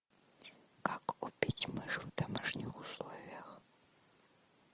как убить мышь в домашних условиях